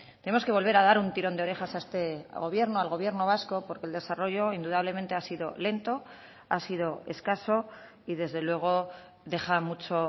tenemos que volver a dar un tirón de orejas a este gobierno al gobierno vasco porque el desarrollo indudablemente ha sido lento ha sido escaso y desde luego deja mucho